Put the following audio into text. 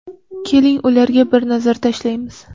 Keling, ularga bir nazar tashlaymiz.